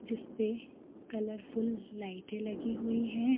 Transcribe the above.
जिस पे colourful लाइटे लगीं हुई है।